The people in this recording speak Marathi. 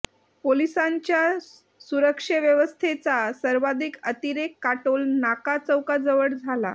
पोलिसांच्या सुरक्षेव्यवस्थेचा सर्वाधिक अतिरेक काटोल नाका चौकाजवळ झाला